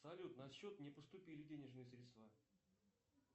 салют на счет не поступили денежные средства